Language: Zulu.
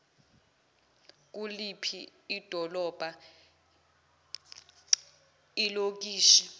kuliphi idolobha ilokishi